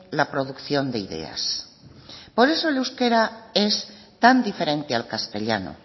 la producción de ideas por eso el euskera es tan diferente al castellano